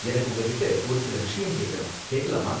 எனக்கு உங்ககிட்ட ஒரு சில விஷயம் கேக்கணும். கேக்கலாமா?